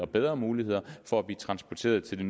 bedre mulighed for hurtigere at blive transporteret til det